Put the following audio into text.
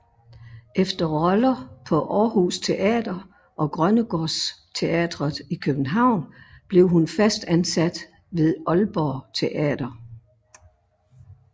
Efter roller på Aarhus Teater og Grønnegårds Teatret i København blev hun fast ansat ved Aalborg Teater